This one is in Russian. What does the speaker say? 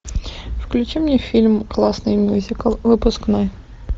включи мне фильм классный мюзикл выпускной